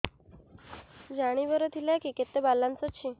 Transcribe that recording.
ଜାଣିବାର ଥିଲା କି କେତେ ବାଲାନ୍ସ ଅଛି